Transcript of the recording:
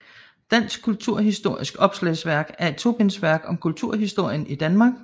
Dansk kulturhistorisk Opslagsværk er et tobindsværk om kulturhistorien i Danmark